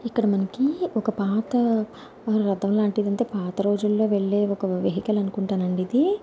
ఇక్కడ మనకి ఒక పాత రథం లాంటిది అంటే పాత రోజుల్లో వెళ్లే ఒక వెహికల్ అనుకుంటానండి ఇది.